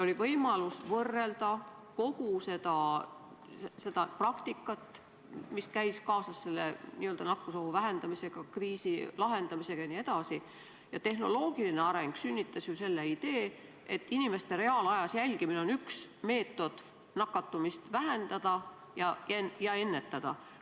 Oli võimalik võrrelda kogu seda praktikat, mis käis kaasas n-ö nakkusohu vähendamisega, kriisi lahendamisega jne, ning tehnoloogiline areng sünnitas ju idee, et inimeste reaalajas jälgimine on üks meetod nakatumist vähendada ja ennetada.